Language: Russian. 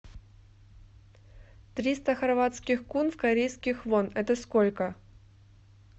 триста хорватских кун в корейских вон это сколько